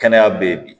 Kɛnɛya beyi bi